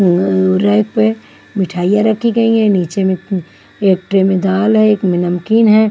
ऊं रैक पे मिठाई रखी गई है नीचे में उँ एक ट्रे में दाल है एक में नमकीन है।